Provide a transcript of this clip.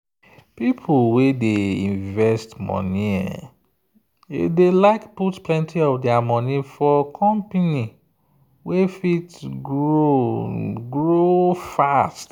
people wey dey invest money dey like put plenty of their money for company wey fit grow grow fast.